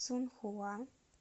цунхуа